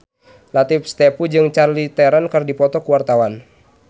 Latief Sitepu jeung Charlize Theron keur dipoto ku wartawan